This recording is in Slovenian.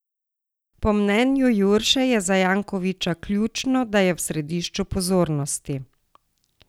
Po mnenju Jurše je za Jankovića ključno, da je v središču pozornosti.